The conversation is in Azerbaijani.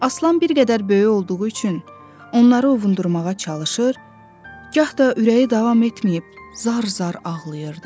Aslan bir qədər böyük olduğu üçün onları ovundurmağa çalışır, gah da ürəyi davam etməyib, zar-zar ağlayırdı.